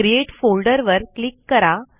create folder वर click करा